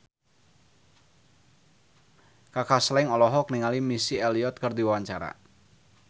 Kaka Slank olohok ningali Missy Elliott keur diwawancara